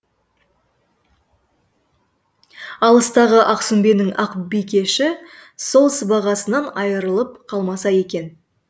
алыстағы ақсүмбенің ақбикеші сол сыбағасынан айрылып қалмаса екен